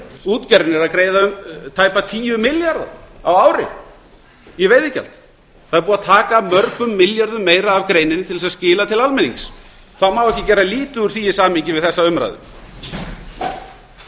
útgerðin er að greiða tæpa tíu milljarða á ári í veiðigjald það er búið að taka mörgum milljörðum meira af greininni til að skila til almennings þá má ekki gera lítið úr því í samhengi við þessa umræðu auðlindasjóður